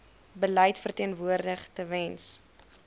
beleid verteenwoordig tewens